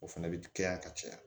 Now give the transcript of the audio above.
O fɛnɛ bɛ kɛ yan ka caya